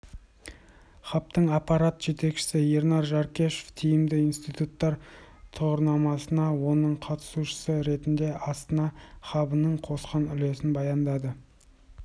хабтың аппарат жетекшісі ернар жаркешов тиімді институттар тұғырнамасына оның қатысушысы ретінде астана хабының қосқан үлесін баяндады